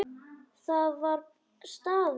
Það var staður.